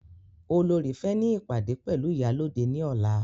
Olorì fẹ́ ní ìpàdé pẹ̀lú iyalode ní ọ̀la